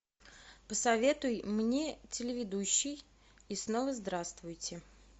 посоветуй мне телеведущий и снова здравствуйте